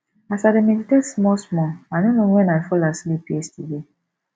as i dey meditate small small i no know wen i fall asleep yesterday